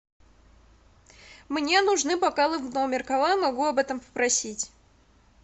мне нужны бокалы в номер кого я могу об этом попросить